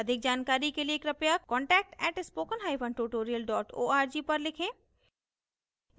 अधिक जानकारी के लिए कृपया contact at spoken hyphen tutorial dot org पर लिखें